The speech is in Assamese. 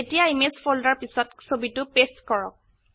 এতিয়া ইমেজ ফোল্ডাৰ পিছত ছবিটো পেস্ট কৰক